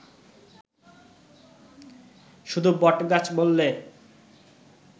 শুধু বটগাছ বললে